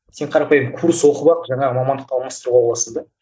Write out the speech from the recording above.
сен қарапайым курс оқып алып жаңағы мамандыққа алмастырып ала аласың да